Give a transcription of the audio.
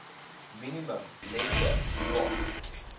minimum lengte loa